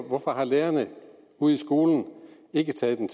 hvorfor har lærerne ude i skolen ikke taget den